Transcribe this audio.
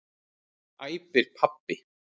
æpir pabbi.